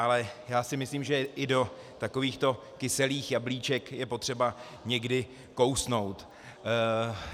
Ale já si myslím, že i do takovýchto kyselých jablíček je potřeba někdy kousnout.